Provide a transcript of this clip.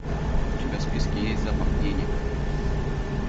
у тебя в списке есть запах денег